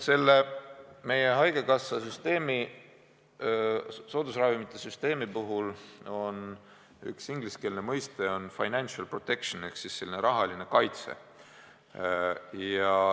Meie haigekassa soodusravimite süsteemi puhul on tähtis üks ingliskeelne mõiste, financial protection ehk rahaline kaitse.